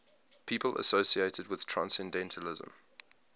people associated with transcendentalism